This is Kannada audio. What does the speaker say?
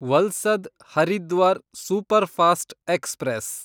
Valsad Haridwar superfast express